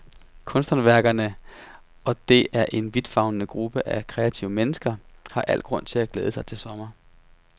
Kunsthåndværkerne, og det er en vidtfavnende gruppe af kreative mennesker, har al grund til at glæde sig til sommeren.